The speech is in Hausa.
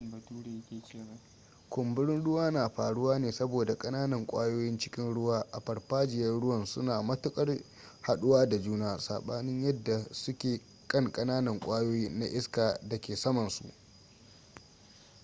kumburin ruwa na faruwa ne saboda kananan kwayoyin cikin ruwa a farfajiyan ruwan suna matuƙar jhaɗuwa da juna saɓanin yadda suke kankananan kwayoyi na iska a da ke samansu